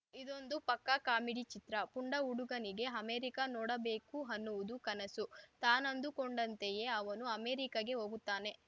ಇದೊಂದು ಪಕ್ಕಾ ಕಾಮಿಡಿ ಚಿತ್ರ ಪುಂಡ ಹುಡುಗನಿಗೆ ಅಮೆರಿಕಾ ನೋಡಬೇಕು ಅನ್ನುವುದು ಕನಸು ತಾನಂದುಕೊಂಡಂತೆಯೇ ಅವನು ಅಮೆರಿಕಾಗೆ ಹೋಗುತ್ತಾನೆ